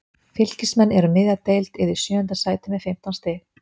Fylkismenn eru um miðja deild eða í sjöunda sæti með fimmtán stig.